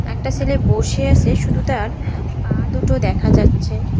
একটা ছেলে বসে আছে শুধু তার পা দুটো দেখা যাচ্ছে।